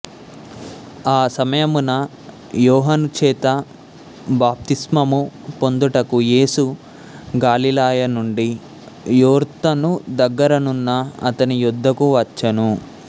ఆ సమయమున యోహానుచేత బాప్తిస్మము పొందుటకు యేసు గలిలయనుండి యొర్దాను దగ్గర నున్న అతనియొద్దకు వచ్చెను